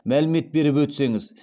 мәлімет беріп өтсеңіз